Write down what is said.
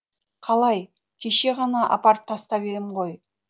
қалай кеше ғана апарып тастап ем ғой